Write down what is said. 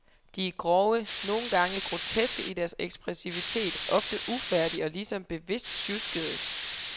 De er grove, nogle gange groteske i deres ekspressivitet, ofte ufærdige og ligesom bevidst sjuskede.